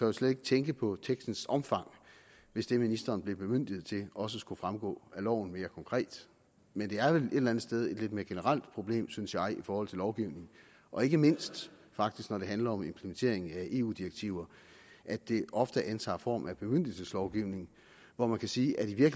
jo slet ikke tænke på tekstens omfang hvis det ministeren bliver bemyndiget til også skulle fremgå af loven mere konkret men det er vel et eller andet sted et lidt mere generelt problem synes jeg i forhold til lovgivningen og ikke mindst faktisk når det handler om implementeringen af eu direktiver at det ofte antager form af bemyndigelseslovgivning hvor man kan sige at i